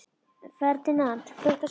Ferdinand, kveiktu á sjónvarpinu.